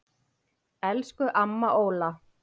Elsku amma Óla.